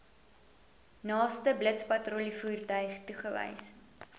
naaste blitspatrollievoertuig toegewys